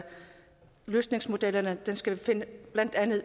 løsningsmodellerne skal findes